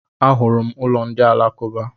A hụrụ m ụlọ ndị Alakuba.